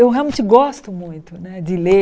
Eu realmente gosto muito né de ler